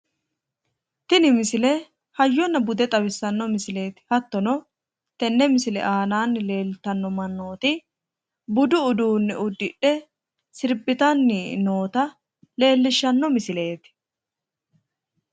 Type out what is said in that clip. Tini misile hayyonna bude xawissanno misileeti. Hottono tenne misisle aanaanni leeltanno mannooti budu uduunne uddidhe sirbitanni noota leellishshanno misileeti.